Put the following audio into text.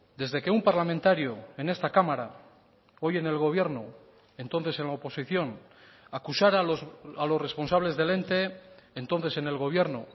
desde que un parlamentario en esta cámara hoy en el gobierno entonces en la oposición acusara a los responsables del ente entonces en el gobierno